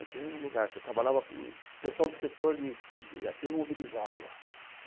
Eu tinha um lugar, porque eu trabalhava com o pessoal do setor de ativo imobilizado lá.